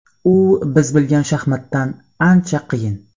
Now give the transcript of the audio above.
U biz bilgan shaxmatdan ancha qiyin.